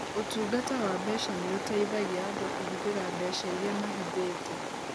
Ũtungata wa mbeca nĩ ũteithagia andũ kũhũthĩra mbeca iria mahithĩte.